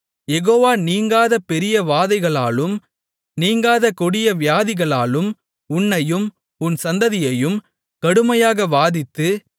யெகோவா நீங்காத பெரிய வாதைகளாலும் நீங்காத கொடிய வியாதிகளாலும் உன்னையும் உன் சந்ததியையும் கடுமையாக வாதித்து